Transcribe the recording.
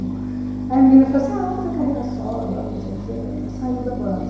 Aí a menina falou assim, ah, vamos fazer carreira solo agora, não sei o quê na na na saiu da banda.